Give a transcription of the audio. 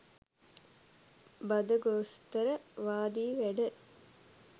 බද ගොස්තර වාදී වැඩ.